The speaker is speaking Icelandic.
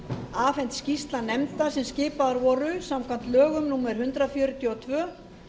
afhent skýrsla nefnda sem skipaðar voru samkvæmt lögum númer hundrað fjörutíu og tvö